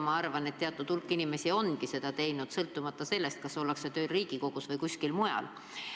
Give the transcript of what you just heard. Ma arvan, et teatud hulk inimesi ongi seda teinud, sõltumata sellest, kas ollakse tööl Riigikogus või kuskil mujal.